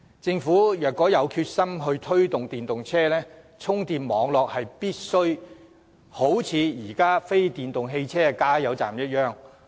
政府若有決心推動電動車，充電網絡便必須和現時非電動汽車的加油站看齊。